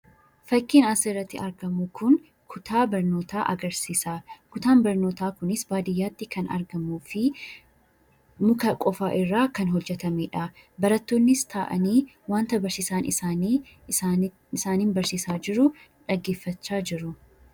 Fakkiin asi irratti argamuu kun kutaa barnoota agarsisa. Kutaan barnootaa kunis Baadiyaatti kan argamuufi Mukaa qofaa irra kan hojeetamedha. Baratonis ta'ani waanta barsisaan isaani isaaniin barsisaa jiruudha dhagefachaa jiru.